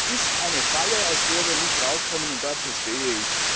Das ist eine Falle, aus der wir nicht herauskommen, und dazu stehe ich!